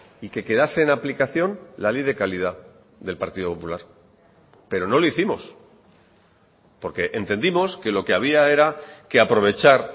y que quedase en aplicación la ley de calidad del partido popular pero no lo hicimos porque entendimos que lo que había era que aprovechar